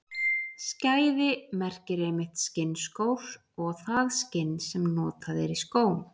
Skæði merkir einmitt skinnskór og það skinn sem notað er í skó.